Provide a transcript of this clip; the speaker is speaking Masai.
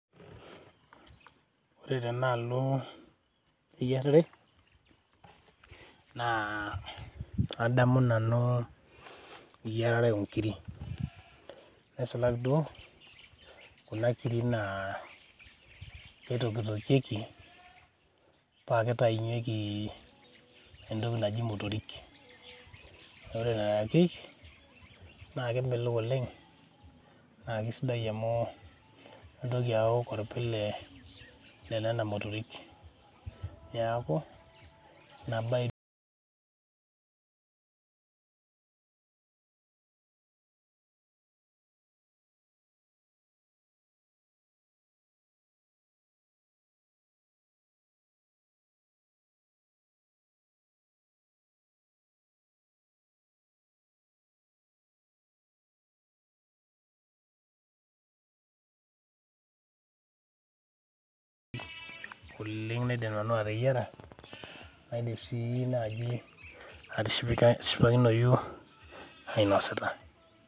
Ore tenaalo eyiarare naa adamu nanu eyiarare oo nkiri nisulaki duo kuna nkiri naa kitokitokieki paa kitainyieki entoki naaji imotori ore nena nkiri naa kemelok oleng naa kisidai amu intoki awok orpile le nena motorik neaku nena aidim nanu ateyiara naidim sii naaji atishipakinoyu ainosita.